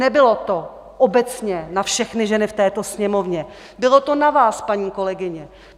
Nebylo to obecně na všechny ženy v této Sněmovně, bylo to na vás, paní kolegyně.